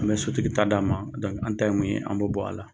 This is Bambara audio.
N'i ye sotigi ta d'a ma, an ta ye mun ye, an b'o ta.